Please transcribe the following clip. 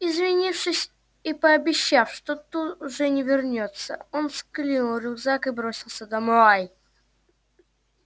извинившись и пообещав что тут же вернётся он скинул рюкзак и бросился домой